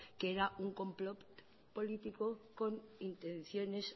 que era un complot político con intenciones